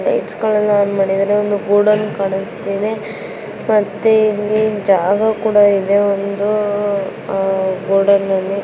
Lights ಗಳೆಲ್ಲ on ಮಾಡಿದ್ದಾರೆ ಒಂದು ಗೋಡನ್ ಕಾಣಿಸ್ತಾ ಇದೆ. ಮತ್ತೆ ಇಲ್ಲಿ ಜಾಗ ಕೂಡ ಇದೆ ಒಂದು ಗೋಡನ್ --